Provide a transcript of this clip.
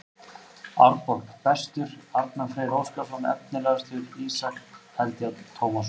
Árborg: Bestur: Arnar Freyr Óskarsson Efnilegastur: Ísak Eldjárn Tómasson